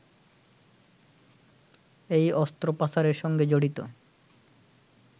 এই অস্ত্র পাচারের সঙ্গে জড়িত